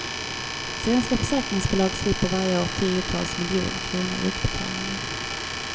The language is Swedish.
Svenska försäkringsbolag slipper varje år tiotals miljoner kronor i utbetalningar.